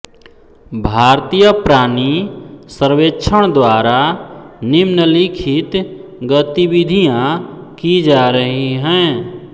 भारतीय प्राणि सर्वेक्षण द्वारा निम्नलिखित गतिविधियां की जा रही हैं